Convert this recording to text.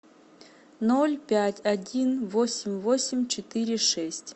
ноль пять один восемь восемь четыре шесть